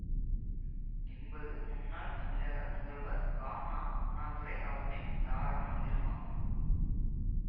என்பது முன்னாள் தமிழக முதல்வர் கா ந அண்ணாதுரை அவர்களின் தாரக மந்திரமாகும்